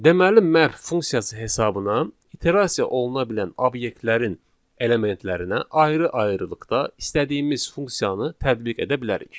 Deməli, map funksiyası hesabına iterasiya oluna bilən obyektlərin elementlərinə ayrı-ayrılıqda istədiyimiz funksiyanı tətbiq edə bilərik.